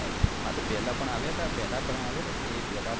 હા તો પેલા પણ આવ્યા તા કે એ પેલા